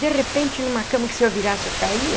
De repente, numa cama que se eu virasse, eu caía,